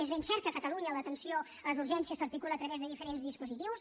és ben cert que a catalunya l’atenció a les urgències s’articula a través de diferents dispositius